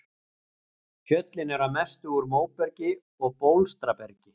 Fjöllin eru að mestu úr móbergi og bólstrabergi.